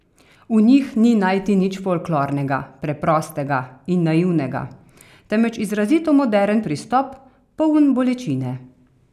V njih ni najti nič folklornega, preprostega in naivnega, temveč izrazito moderen pristop, poln bolečine.